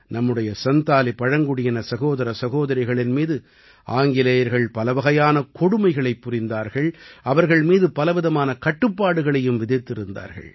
நம்முடைய சந்தாலி பழங்குடியின சகோதர சகோதரிகளின் மீது ஆங்கிலேயர்கள் பலவகையான கொடுமைகளைப் புரிந்தார்கள் அவர்கள் மீது பலவிதமான கட்டுப்பாடுகளையும் விதித்திருந்தார்கள்